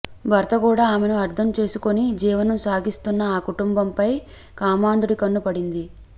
భర్త కూడా ఆమెను అర్థం చేసుకొని జీవనం సాగిస్తున్న ఆ కుటుంబంపై కామాంధుడి కన్ను పడింది